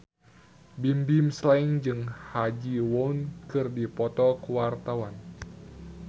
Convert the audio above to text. Bimbim Slank jeung Ha Ji Won keur dipoto ku wartawan